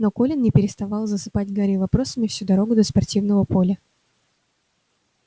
но колин не переставал засыпать гарри вопросами всю дорогу до спортивного поля